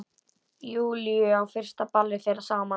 Júlíu á fyrsta ballið þeirra saman.